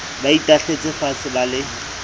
ba itahletse faatshe ba le